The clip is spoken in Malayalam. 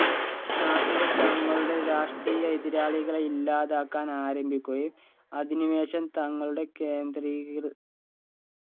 നാസികൾ തങ്ങളുടെ രാഷ്ട്രീയ എതിരാളികളെ ഇല്ലാതാക്കാൻ ആരംഭിക്കുകയും അധിനിവേശം തങ്ങളുടെ കേന്ദ്രീകൃ